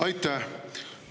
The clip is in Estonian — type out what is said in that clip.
Aitäh!